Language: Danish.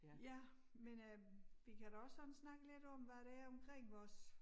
Ja men øh vi kan da også sådan snakke lidt om hvad der er omkring vores